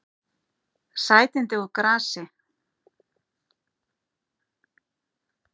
Sætindi úr grasi